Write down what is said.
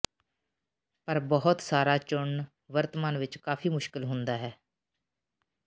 ਪਰ ਬਹੁਤ ਸਾਰਾ ਚੁਣਨ ਵਰਤਮਾਨ ਵਿਚ ਕਾਫ਼ੀ ਮੁਸ਼ਕਲ ਹੁੰਦਾ ਹੈ